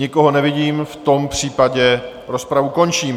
Nikoho nevidím, v tom případě rozpravu končím.